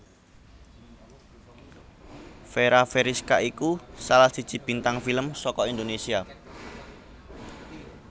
Fera Feriska iku salah siji bintang film saka Indonesia